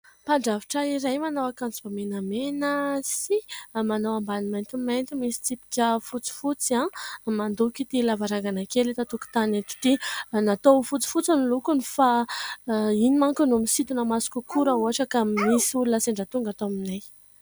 Mpadrafitra iray manao akanjo menamena sy manao ambany maintimainty misy tsipika fotsy fotsy no mandoko ity lavarangana kely eto antokotany eto ity natao ho fotsy fotsy ny lokony fa io manko no misitona maso kokoa raha ohatra ka misy olona sendra tonga ato aminay.